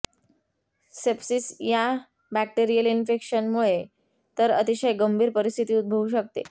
sepsis ह्या bacterial infection मुळे तर अतिशय गंभीर परिस्थिती उद्भवू शकते